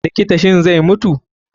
likta, shin zai mutu?